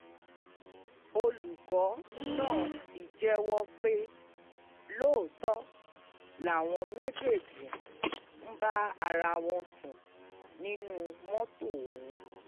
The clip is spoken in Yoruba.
olùkọ́ náà ti jẹ́wọ́ pé lóòótọ́ làwọn méjèèjì ń bára àwọn sùn nínú mọ́tò ọ̀hún